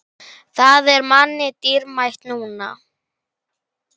Það er manni dýrmætt núna.